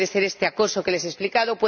puede ser este acoso que les he explicado